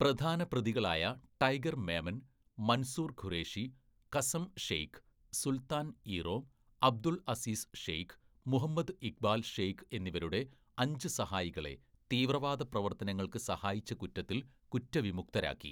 പ്രധാന പ്രതികളായ ടൈഗർ മേമൻ, മൻസൂർ ഖുറേഷി, കസം ഷെയ്ഖ്, സുൽത്താൻ ഇ റോം, അബ്ദുൾ അസീസ് ഷെയ്ഖ്, മുഹമ്മദ് ഇഖ്ബാൽ ഷെയ്ഖ് എന്നിവരുടെ അഞ്ച് സഹായികളെ തീവ്രവാദ പ്രവർത്തനങ്ങൾക്ക് സഹായിച്ച കുറ്റത്തിൽ കുറ്റവിമുക്തരാക്കി.